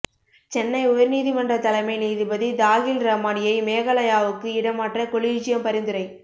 சென்னை உயர்நீதிமன்ற தலைமை நீதிபதி தாஹில் ரமானியை மேகாலயாவுக்கு இடமாற்ற கொலீஜியம் பரிந்துரை